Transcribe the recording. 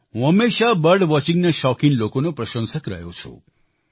હું હંમેશાથી બર્ડ વોચિંગના શોખીન લોકોનો પ્રસંશક રહ્યો છું